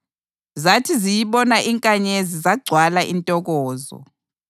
Zathi ziyibona inkanyezi zagcwala intokozo.